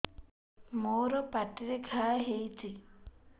ମୋର ପାଟିରେ ଘା ହେଇଚି